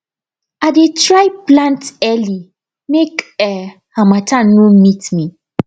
i dey try plant early make um harmattan no meet me